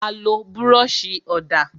A lo búròsì ọ̀dà